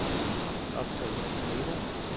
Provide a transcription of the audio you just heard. optag memo